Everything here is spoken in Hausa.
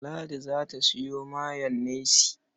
Ladi za ta sayo mayonnaise.